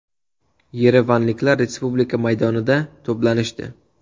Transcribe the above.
Yerevanliklar Respublika maydonida to‘planishdi.